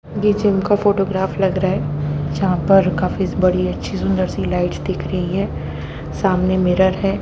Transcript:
ये जिम का फोटोग्राफ लग रहा है। जहां पर काफी बड़ी अच्छी सी सुंदर सी लाइट दिख रही है। सामने मिरर है।